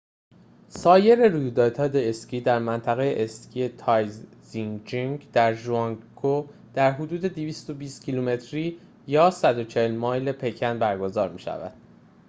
سایر رویدادهای اسکی در منطقه اسکی تایزیچنگ در ژانگجیاکو در حدود 220 کیلومتری 140 مایل پکن برگزار می شوند